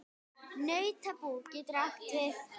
Nautabú getur átt við